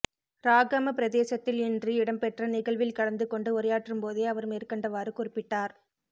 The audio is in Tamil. றாகம பிரதேசத்தில் இன்று இடம்பெற்ற நிகழ்வில் கலந்து கொண்டு உரையாற்றும்போதே அவர் மேற்கண்டவாறு குறிப்பிட்டார்